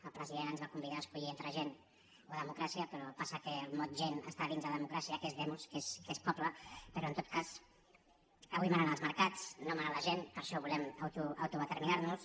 el president ens va convidar a escollir entre gent o democràcia però passa que el mot gent està dins de democràcia que és demosperò en tot cas avui manen els mercats no mana la gent per això volem autodeterminar·nos